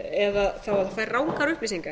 eða fær rangar upplýsingar